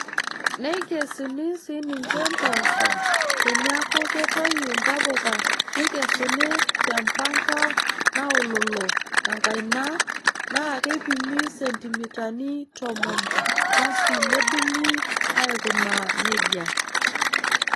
Neikesuni sii ninche mpoosho teneeku ketoyu ntapuka neikesuni te mpanka naololo enkaina naa keipimi sentimitani tomon basi nedung'uni aikunaa neija.